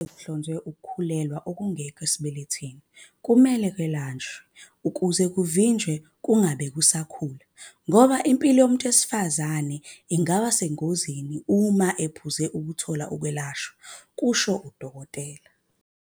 "Uma sekuhlonziwe ukukhulelwa okungekho esibelethweni kumele kwelashwe ukuze kuvinjwe, kungabe kusakhula, ngoba impilo yowesifazane ingaba sengozini uma ephuzile ukuthola ukwelashwa," kusho uDkt.